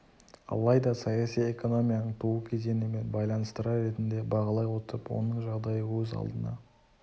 алайда саяси экономияның туу кезеңі мен байланыстыра ретінде бағалай отырып оның жағдайы өз алдына